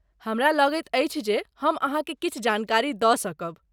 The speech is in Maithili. हमरा लगैत अछि जे हम अहाँकेँ किछु जानकारी दऽ सकब।